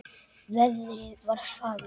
Veðrið var fagurt.